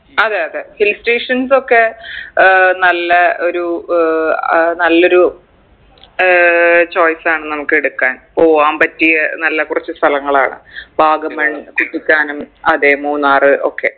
അതെ അതെ hill stations ഒക്കെ ഏർ നല്ലെ ഒരു ഏർ നല്ലൊരു ഏർ choice ആണ് നമുക്കെടുക്കാൻ പോവാൻ പറ്റിയ നല്ല കുറച്ചു സ്ഥലങ്ങളാണ് വാഗമൺ കുറ്റിക്കാനം അതെ മൂന്നാറ് ഒക്കെ